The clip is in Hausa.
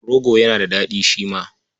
Rogo yana da daɗi shi ma.